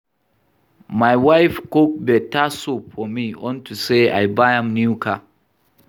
My wife cook beta soup for me unto say I buy am new car